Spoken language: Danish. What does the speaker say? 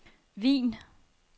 Wien